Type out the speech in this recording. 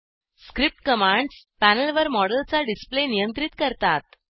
script commands पॅनेलवर मॉडेलचा display नियंत्रित करतात